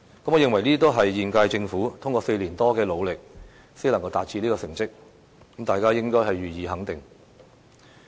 我認為，這些都是現屆政府通過4年多的努力才能夠取得的成績，大家應該予以肯定。